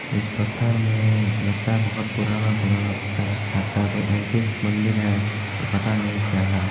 इस पत्थर मै लगता है बहुत पुराना पुराना पत्थर है लगता है कोई एंटीक मंदिर है और पता नहीं क्या है।